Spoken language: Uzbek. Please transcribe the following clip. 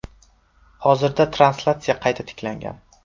Hozirda translyatsiya qayta tiklangan.